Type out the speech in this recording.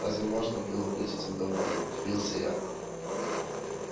разве можно было быть этим довольным удивился я